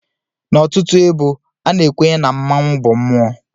N'ọtụtụ ebo, a na-ekwenye na mmanwụ bụ mmụọ.